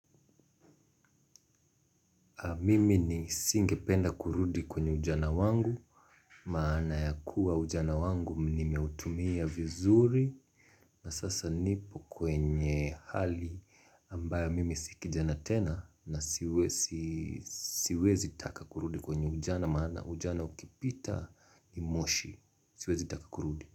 Mimi ni singe penda kurudi kwenye ujana wangu, maana ya kuwa ujana wangu nimeutumia vizuri. Na sasa nipo kwenye hali ambayo mimi si kijana tena na siwezi taka kurudi kwenye ujana maana. Ujana ukipita ni moshi. Siwezi takakurudi.